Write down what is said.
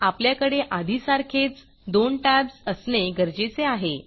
आपल्याकडे आधीसारखेच दोन टॅब्ज असणे गरजेचे आहे